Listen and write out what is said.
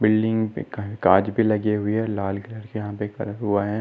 Building पे काहे काच भी लगी हुई है और लाल कलर के यह पर कलर हुवा है।